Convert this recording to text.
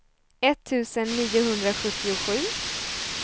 etttusen niohundrasjuttiosju